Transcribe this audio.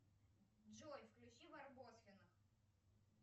джой включи барбоскиных